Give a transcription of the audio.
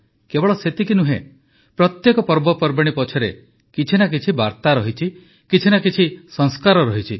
କେବଳ ସେତିକି ନୁହେଁ ପ୍ରତ୍ୟେକ ପର୍ବପର୍ବାଣୀ ପଛରେ କିଛି ନା କିଛି ବାର୍ତ୍ତା ରହିଛି କିଛି ନା କିଛି ସଂସ୍କାର ରହିଛି